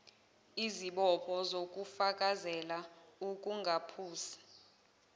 isibopho sokufakazela ukungaphusi